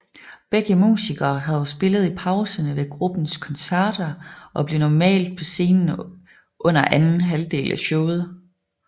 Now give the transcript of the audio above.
Begge musikere havde spillet i pauserne ved gruppens koncerter og blev normalt på scenen under anden halvdel af showet